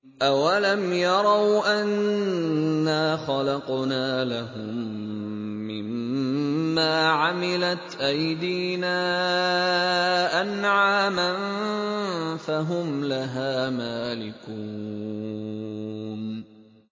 أَوَلَمْ يَرَوْا أَنَّا خَلَقْنَا لَهُم مِّمَّا عَمِلَتْ أَيْدِينَا أَنْعَامًا فَهُمْ لَهَا مَالِكُونَ